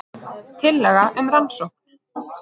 Tillaga um rannsókn